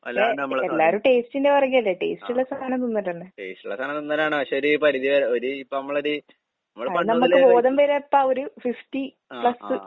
അല്ലാണ്ട് നമ്മള് ആഹ്. ടേസ്റ്റിള്ള സാനം തിന്നലാണ് പക്ഷെ ഒരു പരിധിവരെ ഒരു ഇപ്പമ്മളൊരു ഇമ്മളിപ്പ ആഹ് ആഹ്.